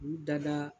U dada